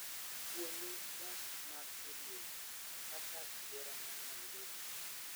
Kuonde dak mag modhier gi, kaka Kibera man Nairobi,